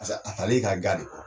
Paseke a tal'e ka ga de kɔrɔ.